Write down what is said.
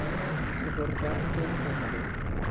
Hann fór rakleitt þangað inn.